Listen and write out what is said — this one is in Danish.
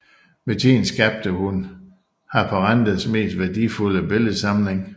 Med tiden skabte hun Haparandas mest værdifulde billedsamling